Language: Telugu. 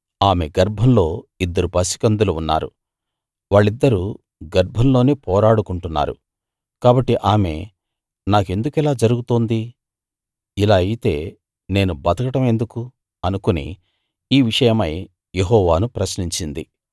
ఆమె గర్భంలో ఇద్దరు పసికందులు ఉన్నారు వాళ్ళిద్దరూ గర్భంలోనే పోరాడుకుంటున్నారు కాబట్టి ఆమె నాకెందుకిలా జరుగుతోంది ఇలా అయితే నేను బతకడం ఎందుకు అనుకుని ఈ విషయమై యెహోవాను ప్రశ్నించింది